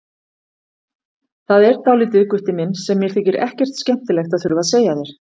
Það er dálítið, Gutti minn, sem mér þykir ekkert skemmtilegt að þurfa að segja þér.